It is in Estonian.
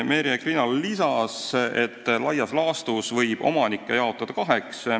Merje Krinal lisas, et laias laastus võib omanikud jaotada kaheks.